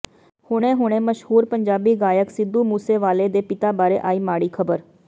ਹੁਣੇ ਹੁਣੇ ਮਸ਼ਹੂਰ ਪੰਜਾਬੀ ਗਾਇਕ ਸਿੱਧੂ ਮੂਸੇਵਾਲੇ ਦੇ ਪਿਤਾ ਬਾਰੇ ਆਈ ਮਾੜੀ ਖ਼ਬਰ